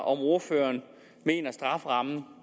om ordføreren mener at strafferammen